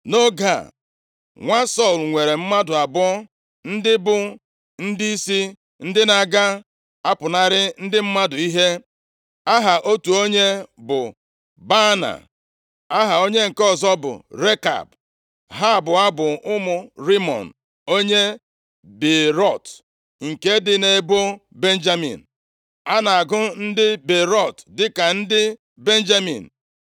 Nʼoge a, nwa Sọl nwere mmadụ abụọ ndị bụ ndịisi ndị na-aga apụnara ndị mmadụ ihe. Aha otu onye bụ Baana, aha onye nke ọzọ bụ Rekab. Ha abụọ bụ ụmụ Rimọn onye Beerọt, nke dị nʼebo Benjamin. A na-agụ ndị Beerọt dịka ndị Benjamin,